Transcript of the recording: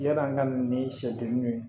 Yan'an ka na ni sɛdenninw ye